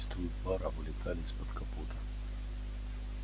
тонкие струи пара вылетали из-под капота